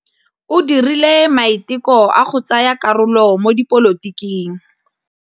O dirile maitekô a go tsaya karolo mo dipolotiking.